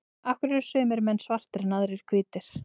af hverju eru sumir menn svartir en aðrir hvítir